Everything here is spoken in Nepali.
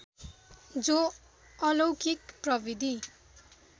जो अलौकिक प्रविधि